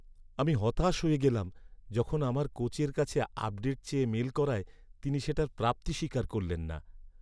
আমি হতাশ হয়ে গেলাম, যখন আমার কোচের কাছে আপডেট চেয়ে মেইল করায় তিনি সেটার প্রাপ্তিস্বীকার করলেন না।